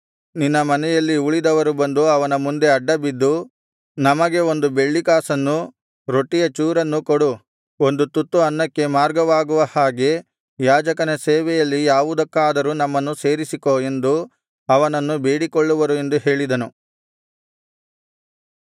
ನಿನ್ನ ಮನೆಯಲ್ಲಿ ಉಳಿದವರು ಬಂದು ಅವನ ಮುಂದೆ ಅಡ್ಡ ಬಿದ್ದು ನಮಗೆ ಒಂದು ಬೆಳ್ಳಿಕಾಸನ್ನು ರೊಟ್ಟಿಯ ಚೂರನ್ನು ಕೊಡು ಒಂದು ತುತ್ತು ಅನ್ನಕ್ಕೆ ಮಾರ್ಗವಾಗುವ ಹಾಗೆ ಯಾಜಕನ ಸೇವೆಯಲ್ಲಿ ಯಾವುದಕ್ಕಾದರೂ ನಮ್ಮನ್ನು ಸೇರಿಸಿಕೋ ಎಂದು ಅವನನ್ನು ಬೇಡಿಕೊಳ್ಳುವರು ಎಂದು ಹೇಳಿದನು